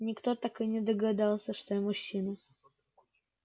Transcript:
никто так и не догадался что я мужчина